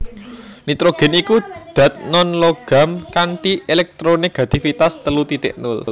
Nitrogèn iku dat non logam kanthi èlèktronegatifitas telu titik nol